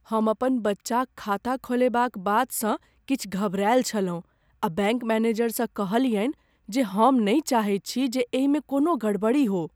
हम अपन बच्चाक खाता खोलयबाक बातसँ किछु घबरायल छलहुँ आ बैंक मैनेजरसँ कहलियनि जे हम नहि चाहैत छी जे एहिमे कोनो गड़बड़ी हो।